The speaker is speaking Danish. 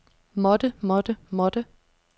måtte måtte måtte